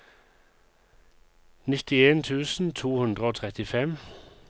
nittien tusen to hundre og trettifem